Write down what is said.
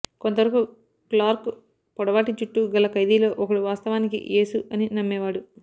కొంతవరకు క్లార్క్ పొడవాటి జుట్టు గల ఖైదీలలో ఒకడు వాస్తవానికి యేసు అని నమ్మేవాడు